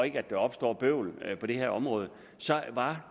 ikke opstår bøvl på det her område så var